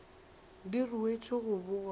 di ruetšwe go bogwa e